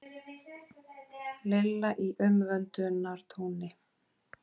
Lilla í umvöndunartóni.